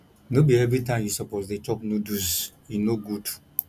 no be everytime you suppose dey chop noodles e no good